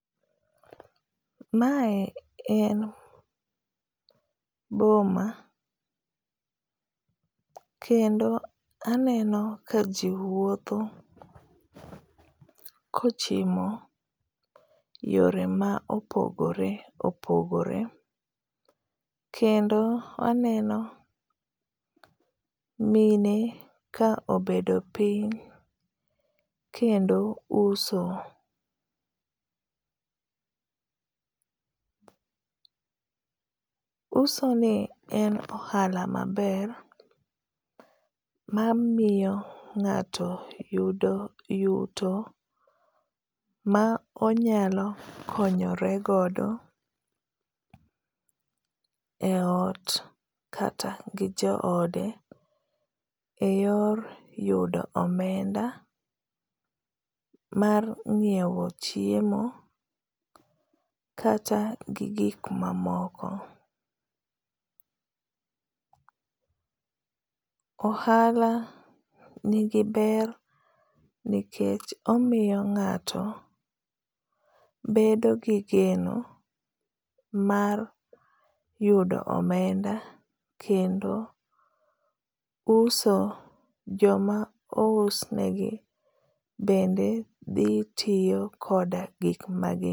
Mae en boma. Kendo aneno ka ji wuotho kochimo yore ma opogore opogore. Kendo aneno mine ka obedo piny kendo uso. Uso ni en ohala maber, mamiyo ngáto yudo yuto ma onyalo konyore godo e ot kata gi joode e yor yudo omenda mar nyiewo chiemo kata gi gik mamoko. Ohala nigi ber nikech omiyo ngáto bedo gi geno mar yudo omenda. Kendo uso, joma ousnegi, bende dhi tiyo koda gik ma gi